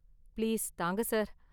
Please தாங்க, sir.